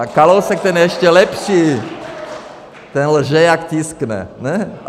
A Kalousek, ten je ještě lepší, ten lže jak tiskne, ne?